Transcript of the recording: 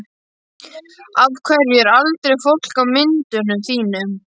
Af hverju er aldrei fólk á myndunum þínum?